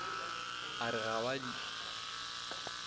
a re ga ba di